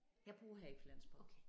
Jeg bor her i Flensborg